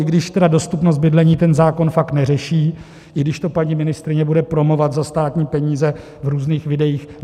I když tedy dostupnost bydlení ten zákon fakt neřeší, i když to paní ministryně bude promovat za státní peníze v různých videích.